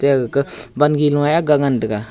eya gaka ban ge noi ye ga ngan tega.